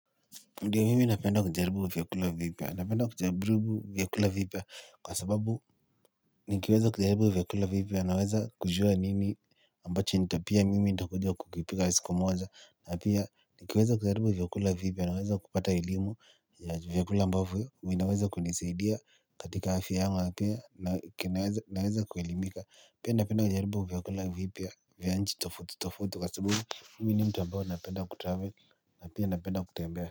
Ndio mimi napenda kujaribu vyakula vipya. Napenda kujaribu vyakula vipya. Kwa sababu nikiweza kujaribu vyakula vipya. Naweza kujua nini ambacho nita pia mimi nitakuja kukipika siku moja. Na pia nikiweza kujaribu vyakula vipya. Naweza kupata elimu vyakula ambavyo. Vinaweza kunisaidia katika afya yangu. Naweza kuelimika. Pia napenda kujaribu vyakula vipya. Vyanchi tofauti tofauti kwa sababu. Mimi ni mtu ambao napenda kutravel. Napenda kutembea.